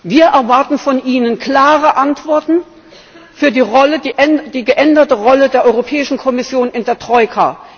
Wir erwarten von Ihnen klare Antworten für die geänderte Rolle der Europäischen Kommission in der Troika.